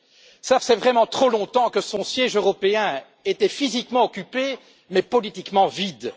Cela faisait trop longtemps que son siège européen était physiquement occupé mais politiquement vide.